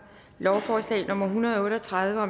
lovforslag nummer l en hundrede og otte og tredive